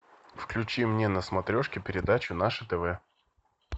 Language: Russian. включи мне на смотрешке передачу наше тв